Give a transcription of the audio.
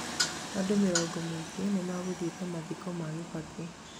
andũ ngiri nyingĩ nĩmagũthiĩte mathiko ma Kibaki